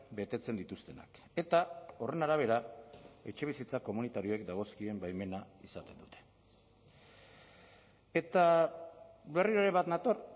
betetzen dituztenak eta horren arabera etxebizitza komunitarioek dagozkien baimena izaten dute eta berriro ere bat nator